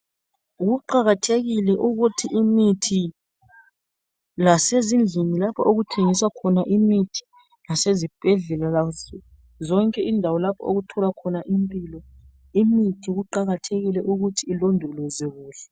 Kuqakathekile ukuthi imithi lasezindlini lapho okuthengiswa imithi sesibhedlela yonke indawo lapho othola khona imithi kuqakathekile ukuthi ilondolozwe kuhle.